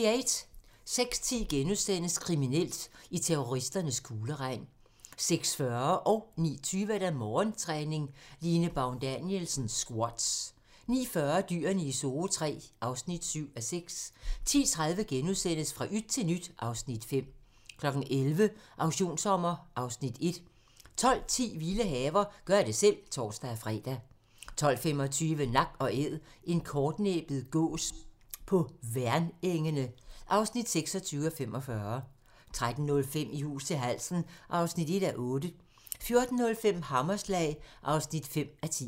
06:10: Kriminelt: I terroristernes kugleregn * 06:40: Morgentræning: Line Baun Danielsen - squats 09:20: Morgentræning: Line Baun Danielsen - squats 09:40: Dyrene i Zoo III (7:6) 10:30: Fra yt til nyt (Afs. 5)* 11:00: Auktionssommer (Afs. 1) 12:10: Vilde haver - gør det selv (tor-fre) 12:25: Nak & Æd - en kortnæbbet gås på Værnengene (26:45) 13:05: I hus til halsen (1:8) 14:05: Hammerslag (5:10)